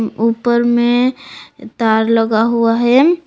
ऊपर में तर लगा हुआ है।